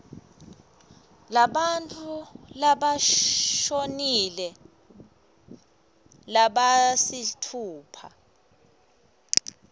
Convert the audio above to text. labantfu labashonile labasitfupha